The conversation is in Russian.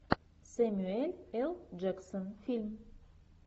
сэмюэл л джексон фильм